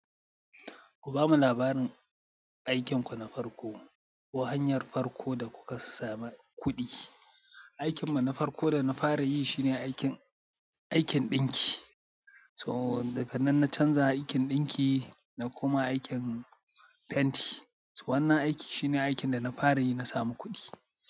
Ku bamu labarin aikinku na farko ko hanyar farko da kuka samu kuɗi. Aikin mu na farko da na fara yi shine aikin, aikin ɗinki. So daga nan na canza aikin ɗinki na koma aikin fenti. So wannan aiki shine aikin da na fara yi na samu kuɗi.